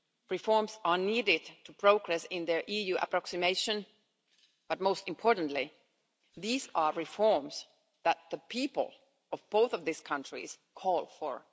Reforms are needed to progress in the EU approximation, but most importantly, these are reforms that the people of both of these countries call for.